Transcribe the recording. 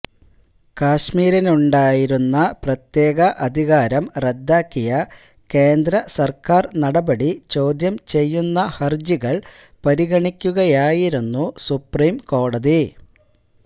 കശ്മീരിനുണ്ടായിരുന്ന പ്രത്യേക അധികാരം റദ്ദാക്കിയ കേന്ദ്ര സര്ക്കാര് നടപടി ചോദ്യം ചെയ്യുന്ന ഹര്ജികള് പരിഗണിക്കുകയായിരുന്നു സുപ്രീം കോടതി